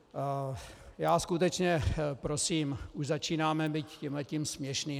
Já skutečně prosím - už začínáme být tímhletím směšný.